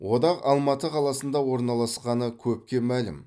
одақ алматы қаласында орналасқаны көпке мәлім